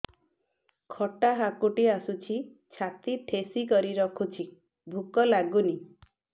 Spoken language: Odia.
ଖଟା ହାକୁଟି ଆସୁଛି ଛାତି ଠେସିକରି ରଖୁଛି ଭୁକ ଲାଗୁନି